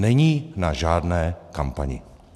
Není na žádné kampani.